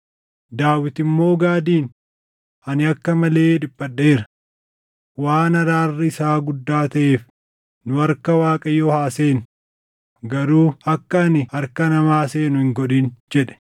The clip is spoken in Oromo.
Daawit immoo Gaadiin, “Ani akka malee dhiphadheera. Waan araarri isaa guddaa taʼeef nu harka Waaqayyoo haa seennu; garuu akka ani harka namaa seenu hin godhin” jedhe.